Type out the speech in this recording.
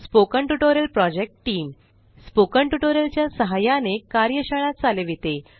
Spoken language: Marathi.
spoken tutorial project team spoken tutorial च्या सहाय्याने कार्यशाळा चालविते